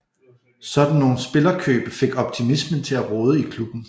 Sådan nogle spillerkøb fik optimismen til at råde i klubben